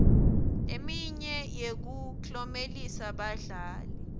leminye yekuklomelisa badlali